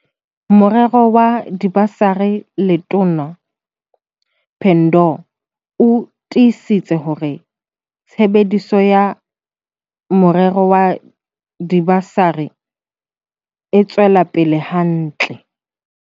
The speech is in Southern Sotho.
Morero wa dibasari Letona Pandor o tiisitse hore tshebediso ya morero wa diba sari e tswela pele hantle.